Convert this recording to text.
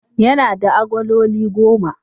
Yana da agololi goma.